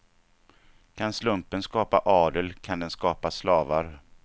Kan slumpen skapa adel, kan den skapa slavar.